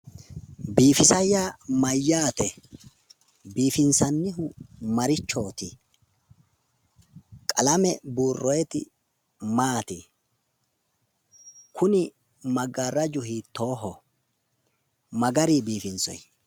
Biifisa yaa mayyaate? Biifinsannihu marichooti? Qalame burroyiiti maati? Kuni maggaaraju hiittooho? Ma gari biifinsoyi?